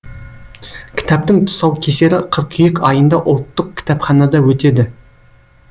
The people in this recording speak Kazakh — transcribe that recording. кітаптың тұсаукесері қыркүйек айында ұлттық кітапханада өтеді